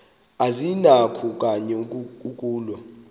azinakho kanye ukulwa